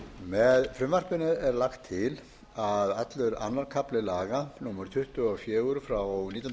með frumvarpinu er lagt til að allur annar kafli laga númer tuttugu og fjögur nítján hundruð áttatíu og